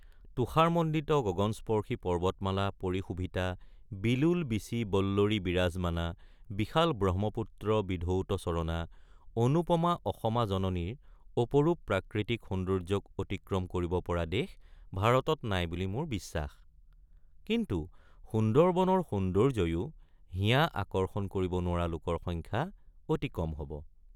তুষাৰমণ্ডিত গগনস্পৰ্শী পৰ্বতমালা পৰিশোভিতা বিলোল বীচিবল্লৰীবিৰাজমানা বিশাল ব্ৰহ্মপুত্ৰবিধৌতচৰণা অনুপমা অসমা জননীৰ অপৰূপ প্ৰাকৃতিক সৌন্দৰ্যক অতিক্ৰম কৰিব পৰা দেশ ভাৰতত নাই বুলি মোৰ বিশ্বাস কিন্তু সুন্দৰবনৰ সৌন্দৰ্যয়ো হিয়া আকৰ্ষণ কৰিব নোৱাৰা লোকৰ সংখ্যা অতি কম হব।